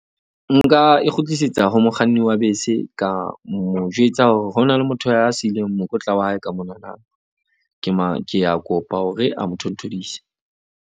Nka e kgutlisetsa ho mokganni wa bese. Ka mo jwetsa hore ho na le motho a siileng mokotla wa hae ka monana. Ke ke a kopa hore a mo thonthodise.